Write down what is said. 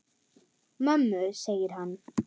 Mömmu, segir hann.